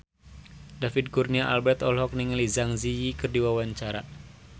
David Kurnia Albert olohok ningali Zang Zi Yi keur diwawancara